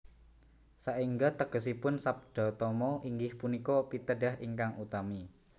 Saengga tegesipun Sabdatama inggih punika pitedah ingkang utami